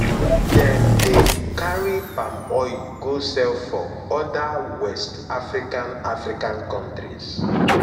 dem dey carry palm oil go sell for oda west african african countries